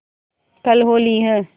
कल होली है